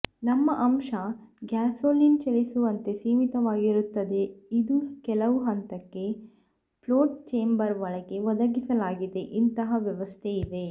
ನಮ್ಮ ಅಂಶ ಗ್ಯಾಸೋಲಿನ್ ಚಲಿಸುವಂತೆ ಸೀಮಿತವಾಗಿರುತ್ತದೆ ಇದು ಕೆಲವು ಹಂತಕ್ಕೆ ಫ್ಲೋಟ್ ಚೇಂಬರ್ ಒಳಗೆ ಒದಗಿಸಲಾಗಿದೆ ಇಂತಹ ವ್ಯವಸ್ಥೆ ಇದೆ